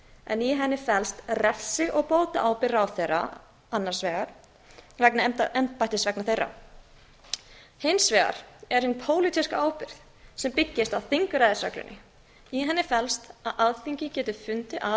en í henni felst refsi og bótaábyrgð ráðherra annars vegar vegna embættisverka þeirra og hins vegar er hin pólitíska ábyrgð sem byggist á þingræðisreglunni í henni felst að alþingi getur fundið að